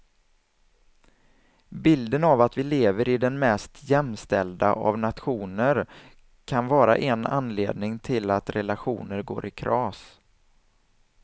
Bilden av att vi lever i den mest jämställda av nationer kan vara en anledning till att relationer går i kras.